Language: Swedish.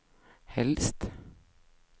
helst